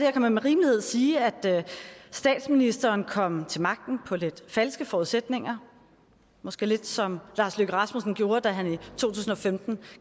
og kan man med rimelighed sige at statsministeren kom til magten på lidt falske forudsætninger måske lidt som lars løkke rasmussen gjorde da han i to tusind og femten